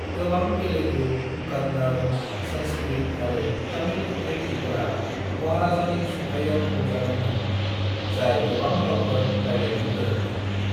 गोबां तेलुगु, कन्नड़, संस्कृत आरो तमिल खन्थायगिरिफोरा महाराजानि सुंथाइयाव रंजादों मोन, जाय गोबां रावफोर रायलायनो गोरों मोन।